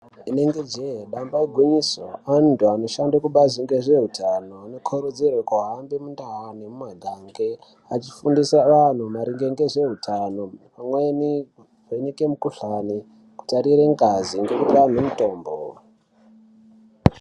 Inenge jee, damba igwinyiso, antu anoshande kubazi rezveutano anokurudzirwe kuhambe mundau nemumaganga vechifundise vantu maringe ngezveutano pamwe nekuvheneke mikuhlane nekutarire ngazi nekuahine mitombo.